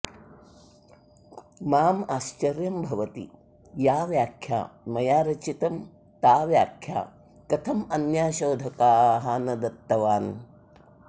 माम् आश्चर्यं भवति या व्याख्या मया रचितम् ता व्याख्या कथं अन्याः शोधकाः न दत्तवान्